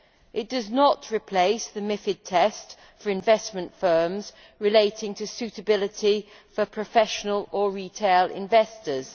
It does not replace the MiFiD test for investment firms on suitability for professional or retail investors.